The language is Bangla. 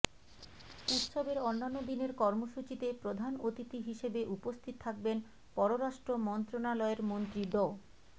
উৎসবের অন্যান্য দিনের কর্মসূচিতে প্রধান অতিথি হিসেবে উপস্থিত থাকবেন পররাষ্ট্র মন্ত্রণালয়ের মন্ত্রী ড